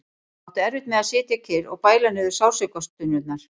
Hún átti erfitt með að sitja kyrr og bæla niður sársaukastunurnar.